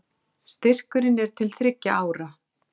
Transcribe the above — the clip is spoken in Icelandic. Segja lög um gengistryggð lán gagnslaus